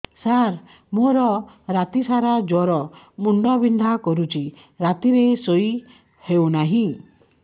ସାର ମୋର ରାତି ସାରା ଜ୍ଵର ମୁଣ୍ଡ ବିନ୍ଧା କରୁଛି ରାତିରେ ଶୋଇ ହେଉ ନାହିଁ